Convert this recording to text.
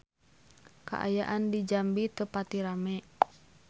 Kaayaan di Jambi teu pati rame